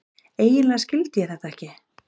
Eiginlega skildi ég þetta ekki.